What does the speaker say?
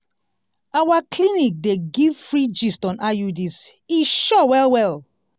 our clinic dey give free gist on iuds e sure well well!